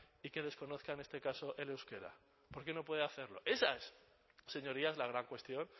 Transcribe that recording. y que desconozca en este caso el euskera por qué no puede hacerlo esa es señorías la gran cuestión